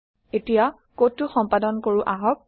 এতিয়া কডটো সম্পাদন কৰো আহক